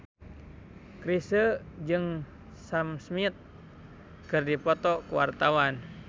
Chrisye jeung Sam Smith keur dipoto ku wartawan